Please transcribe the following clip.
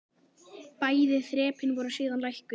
Bæði þrepin voru síðan lækkuð.